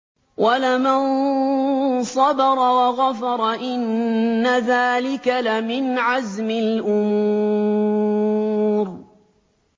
وَلَمَن صَبَرَ وَغَفَرَ إِنَّ ذَٰلِكَ لَمِنْ عَزْمِ الْأُمُورِ